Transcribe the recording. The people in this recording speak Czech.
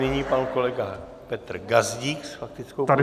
Nyní pan kolega Petr Gazdík s faktickou poznámkou.